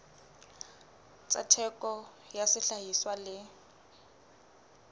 tsa theko ya sehlahiswa le